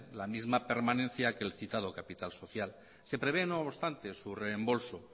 la misma permanencia que el citado capital social se prevé no obstante su reembolso